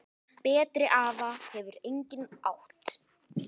Betri afa hefur enginn átt.